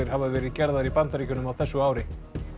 hafa verið gerðar í Bandaríkjunum á þessu ári